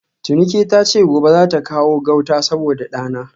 Tinuke tace gobe zata kawo gauta saboda dana